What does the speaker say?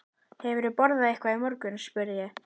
Hefurðu borðað eitthvað í morgun? spurði ég.